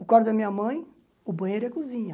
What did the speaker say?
O quarto da minha mãe, o banheiro e a cozinha.